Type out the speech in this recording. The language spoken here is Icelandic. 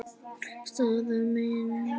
Staðan mín?